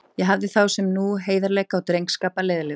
Ég hafði þá sem nú heiðarleika og drengskap að leiðarljósi.